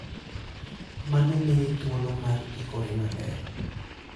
Mano miyi thuolo mar ikori maber.